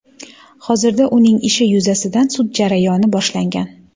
Hozirda uning ishi yuzasidan sud jarayoni boshlangan.